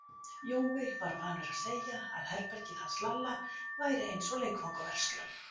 Jói var vanur að segja að herbergið hans Lalla væri eins og leikfangaverslun.